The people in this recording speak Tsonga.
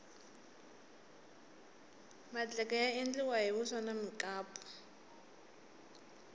madleke ya endliwa hi vuswa na mukapu